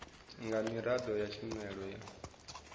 nga miraḓo ya tshumelo ya